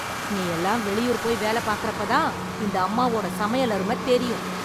நீயெல்லாம் வெளியூர் போய் வேலப் பாக்கறப்ப தான் இந்த அம்மாவோட சமையல் அருமெத் தெரியும்.